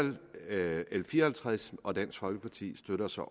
fire og halvtreds og at dansk folkeparti